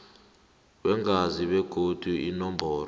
weengazi begodu inomboro